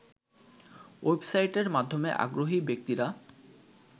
ওয়েবসাইটের মাধ্যমে আগ্রহী ব্যক্তিরা